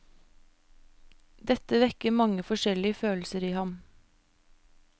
Dette vekker mange forskjellige følelser i ham.